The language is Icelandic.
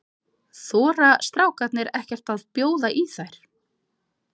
Þora strákarnir ekkert að bjóða í þær?